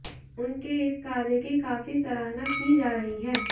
उनके इस कार्य की काफी सराहना की जा रही है